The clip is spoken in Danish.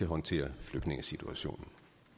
håndtere flygtningesituationen